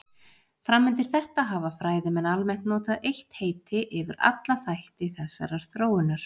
Fram undir þetta hafa fræðimenn almennt notað eitt heiti yfir alla þætti þessarar þróunar.